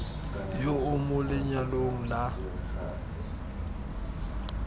yo o mo lenyalong la